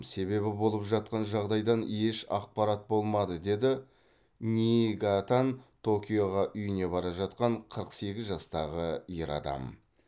себебі болып жатқан жағдайдан еш ақпарат болмады деді ниигатаан токиоға үйіне бара жатқан қырық сегіз жастағы ер адам